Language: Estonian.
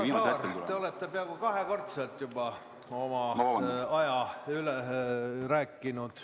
Härra Saar, te olete peaaegu kahekordselt juba oma aja üle rääkinud.